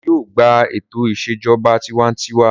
Wọn yóò gbà ètò ìṣèjọba tiwantiwa.